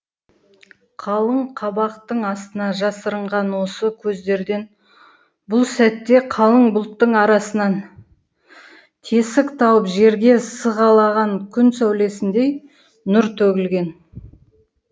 қалың қабақтың астына жасырынған осы көздерден бұл сәтте қалың бұлттың арасынан тесік тауып жерге сығалаған күн сәулесіндей нұр төгілген